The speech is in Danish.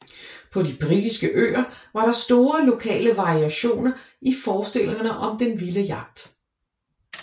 På de britiske øer var der store lokale variationer i forestillingerne om den vilde jagt